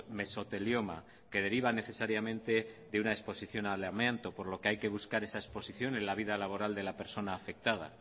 mesotelioma que deriva necesariamente de una exposición al amianto por lo que hay que buscar esa exposición en la vida laboral de la persona afectada